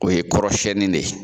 O ye kɔrɔ siɲɛni de ye.